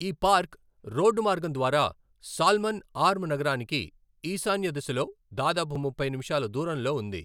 ఈ park road మార్గం ద్వారా సాల్మన్ ఆర్మ్ నగరానికి ఈశాన్య దిశలో దాదాపు ముప్పై నిముషాలు దూరంలో ఉంది.